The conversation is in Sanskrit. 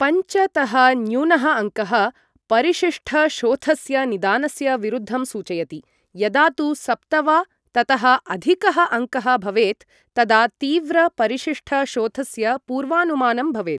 पञ्च तः न्यूनः अङ्कः परिशिष्टशोथस्य निदानस्य विरुद्धं सूचयति, यदा तु सप्त वा ततः अधिकः अङ्कः भवेत् तदा तीव्र परिशिष्टशोथस्य पूर्वानुमानं भवेत्।